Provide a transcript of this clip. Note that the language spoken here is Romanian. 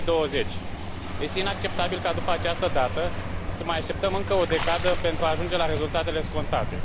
2020. Este inacceptabil ca după această dată, să mai așteptăm încă o decadă pentru a ajunge la rezultatele scontate.